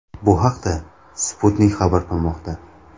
Bu haqda Sputnik xabar qilmoqda .